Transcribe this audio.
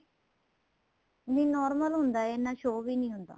ਨਹੀਂ normal ਹੁੰਦਾ ਏ ਐਨਾਂ show ਵੀ ਨਹੀਂ ਹੁੰਦਾ